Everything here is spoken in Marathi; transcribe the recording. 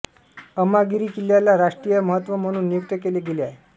अमागिरी किल्ल्याला राष्ट्रीय महत्व म्हणून नियुक्त केले गेले आहे